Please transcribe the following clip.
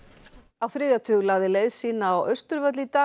á þriðja tug lagði leið sína á Austurvöll í dag